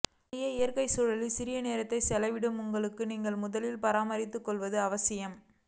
வெளியே இயற்கை சூழலில் சிறிது நேரத்தை செலவிடுங்கள் உங்களை நீங்கள் முதலில் பராமரித்து கொள்வது அவசியம்